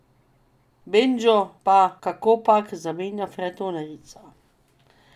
Bendžo pa kakopak zamenja frajtonerica.